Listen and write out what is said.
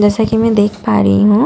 जैसा कि मैं देख पा रही हूं।